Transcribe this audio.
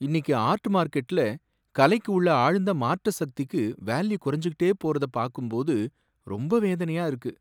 இன்னிக்கு ஆர்ட் மார்கெட்ல, கலைக்கு உள்ள ஆழ்ந்த மாற்ற சக்திக்கு வேல்யூ குறைஞ்சுட்டே போறதை பாக்கும்போது ரொம்ப வேதனையா இருக்கு.